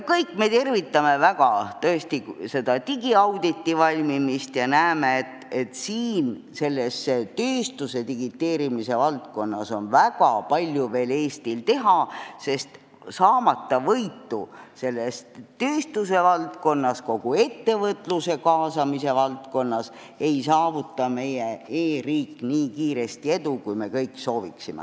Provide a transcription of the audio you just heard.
Kõik me tervitame tõesti digiauditi valmimist ja näeme, et tööstuse digiteerimise valdkonnas on Eestil veel väga palju teha, sest saavutamata võitu tööstuse valdkonnas ja üldse kogu ettevõtluse kaasamise valdkonnas ei saavuta meie e-riik edu nii kiiresti, kui me kõik sooviksime.